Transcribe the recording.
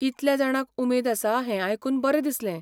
इतल्या जाणांक उमेद आसा हें आयकून बरें दिसलें.